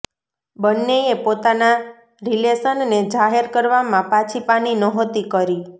બંનેએ પોતાના રિલેશનને જાહેર કરવામાં પાછી પાની નહોતી કરી